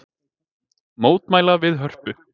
Mótmæla við Hörpu